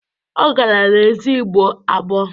Ọ gara n'ezi ịgbọ agbọ